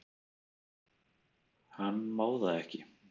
Hann má það ekki.